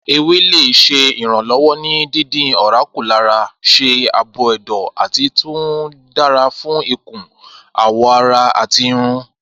Ewele ṣe iranlọwọ ni dídín ọ̀rá kù lára ṣe aabo ẹdọ, ati tun dara fun ikun, awọ ara ati irun.